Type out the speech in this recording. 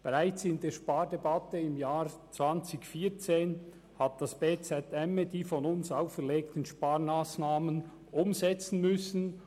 Bereits in der Spardebatte im Jahr 2014 hat das bz emme die von uns auferlegten Sparmassnahmen umsetzen müssen.